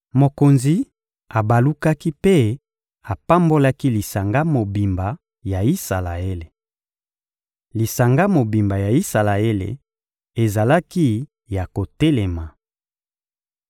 Mokonzi abalukaki mpe apambolaki lisanga mobimba ya Isalaele. Lisanga mobimba ya Isalaele ezalaki ya kotelema.